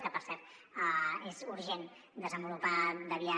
que per cert és urgent desenvolupar via